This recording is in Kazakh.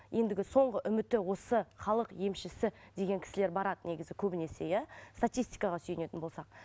ендігі соңғы үміті осы халық емшісі деген кісілер барады негізі көбінесе иә статистикаға сүйінетін болсақ